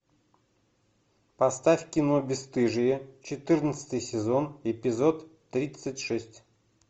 поставь кино бесстыжие четырнадцатый сезон эпизод тридцать шесть